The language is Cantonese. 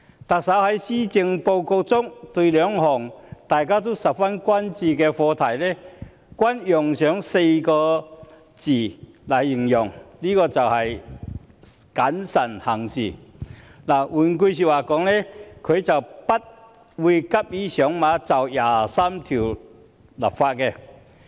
對於兩項大家十分關注的課題，特首在施政報告中同樣用了4個字："謹慎行事"，換言之，特首不會急於就《基本法》第二十三條立法。